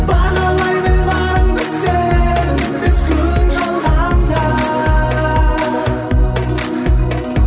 бағалай біл барыңды сен бес күн жалғанда